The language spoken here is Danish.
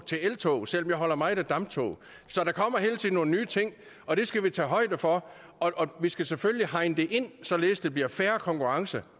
til eltog selv om jeg holder meget af damptog så der kommer hele tiden nogle nye ting og det skal vi tage højde for og vi skal selvfølgelig hegne det ind således at der bliver fair konkurrence